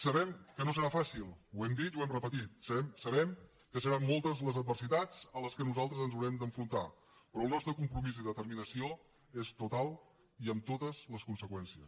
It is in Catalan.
sabem que no serà fàcil ho hem dit i ho hem repetit sabem que seran moltes les adversitats a les quals nosaltres ens haurem d’enfrontar però el nostre compromís i determinació són totals i amb totes les conseqüències